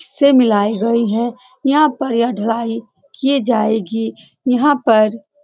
से मिलाइ गई है यहां पर यह ढलाई किए जाएगी यहां पर --